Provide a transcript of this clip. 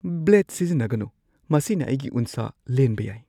Blade ꯁꯤꯖꯤꯟꯅꯒꯅꯨ꯫ ꯃꯁꯤꯅ ꯑꯩꯒꯤ ꯎꯟꯁꯥ ꯂꯦꯟꯕ ꯌꯥꯏ꯫